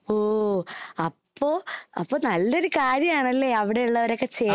ഓ, അപ്പൊ അപ്പൊ നല്ലൊരു കാര്യമാണല്ലേ അവിടെയുള്ളവരൊക്കെ ചെയ്യണേ..